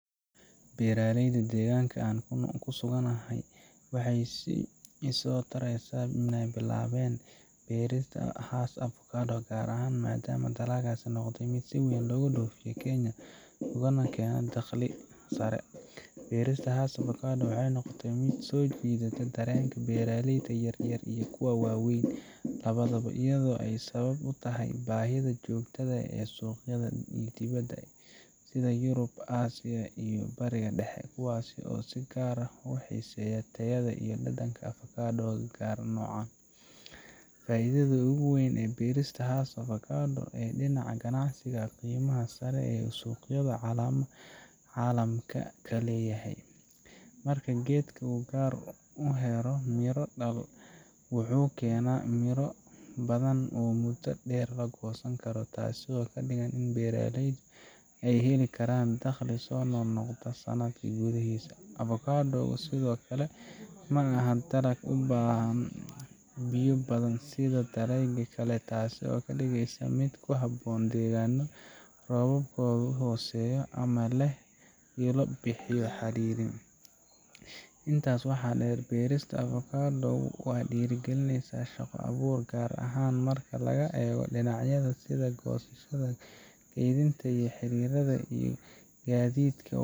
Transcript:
Beeraleyda deegaanka aan ku suganahay waxay si isa soo taraysa u bilaabeen inay beeraan Hass avocado, gaar ahaan maadaama dalaggaasi noqday mid si weyn looga dhoofiyo Kenya una keena dakhli sare. Beerista Hass avocado waxay noqotay mid soo jiidatay dareenka beeraleyda yaryar iyo kuwa waaweyn labadaba, iyadoo ay sabab u tahay baahida joogtada ah ee suuqyada dibadda — sida Yurub, Aasiya, iyo Bariga Dhexe — kuwaas oo si gaar ah u xiiseeya tayada iyo dhadhanka avocado-ga noocan ah. Faa’iidada ugu weyn ee beerista Hass avocado ee dhinaca ganacsiga waa qiimaha sare ee uu suuqyada caalamka ka leeyahay. Marka geedka uu gaaro heer miro-dhal ah, wuxuu keenaa miro badan oo muddo dheer la goosan karo, taasoo ka dhigan in beeraleydu ay heli karaan dakhli soo noqnoqda sanadka gudaahiisa. Avocado-gu sidoo kale ma aha dalag u baahda biyo badan sida dalagyada kale, taasoo ka dhigaysa mid ku habboon deegaanno roobkoodu hooseeyo ama leh ilo biyo xadidan. Intaa waxaa dheer, beerista avocado-gu waxay dhiirrigelisaa shaqo-abuur, gaar ahaan marka laga eego dhinacyada sida goosashada, kaydinta, xirxiridda, iyo gaadiidka.